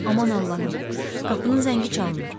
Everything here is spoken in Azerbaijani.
Aman Allahım, qapının zəngi çalınır.